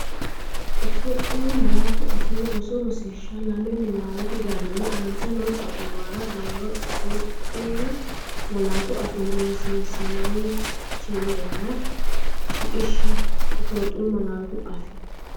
Itophiyu Malaatu Afii Roso Rosiishsha Lame Niwaawete garinni aante noo xa’muwara dawaro Itophiyu malaatu afiinni rosiisaanchi’nera shiqishshe Itophiyu Malaatu Afii.